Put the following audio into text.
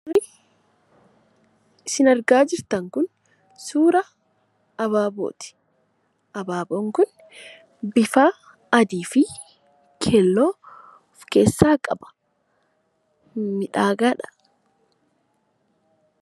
Suurri isin argaa jirtan kun suura abaabooti. Abaaboon kun bifa adii fi keelloo of keessaa qaba. Miidhagaadha!